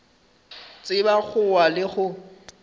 tseba go wa le go